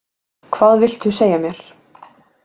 Hvað viltu segja mér?